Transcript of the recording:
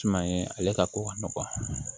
Suma ye ale ka ko ka nɔgɔ